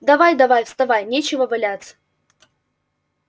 давай-давай вставай нечего валяться